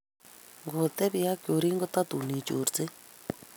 Ngotebi ak chorin kotatun ichorsei.